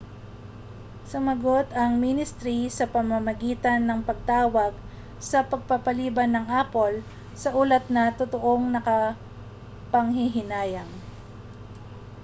sumagot ang ministri sa pamamagitan ng pagtawag sa pagpapaliban ng apple sa ulat na totoong nakapanghihinayang